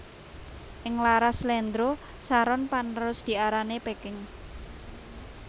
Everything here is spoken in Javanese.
Ing laras slendro saron panerus diarani Peking